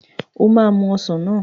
O máa mu ọsàn náà.